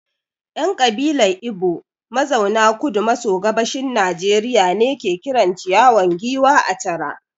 ‘Yan kabilar Igbo mazauna Kudu maso Gabashin Najeriya ne ke kiran ciyawa giwa ‘achara’